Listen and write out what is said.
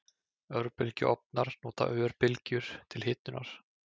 Örbylgjuofnar nota örbylgjur til hitunar.